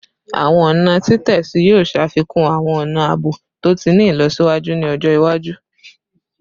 Awọn ọna titẹsi yoo ṣafikun awọn ọna aabo to ti ni ilọsiwaju ni ọjọ iwaju